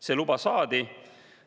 See luba saadi.